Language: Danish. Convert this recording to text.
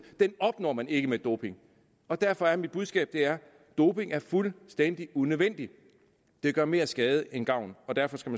opnår man ikke med doping og derfor er mit budskab doping er fuldstændig unødvendigt det gør mere skade end gavn og derfor skal